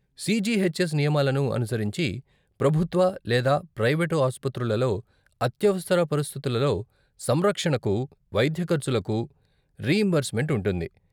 CGHS నియమాలను అనుసరించి ప్రభుత్వ లేదా ప్రైవేటు ఆస్పత్రులలో అత్యవసర పరిస్థితులలో సంరక్షణకు వైద్య ఖర్చులకు రీయింబర్స్మెంట్ ఉంటుంది.